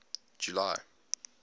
july